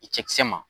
I cɛkisɛ ma